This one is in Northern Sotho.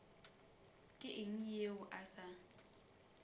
ke eng yeo a sa